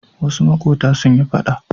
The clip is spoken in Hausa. Wasu maƙota sun yi faɗa.